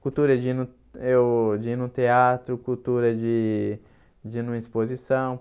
Cultura de ir no eu de ir no teatro, cultura de de ir numa exposição.